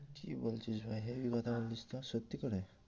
কি বলছিস ভাই হেবি কথা বলছিস তো সত্যি করে?